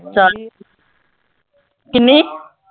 ਕਿੰਨੀ